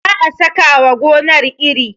za a saka wa gonar iri